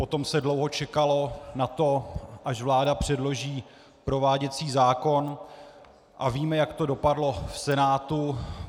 Potom se dlouho čekalo na to, až vláda předloží prováděcí zákon, a víme, jak to dopadlo v Senátu.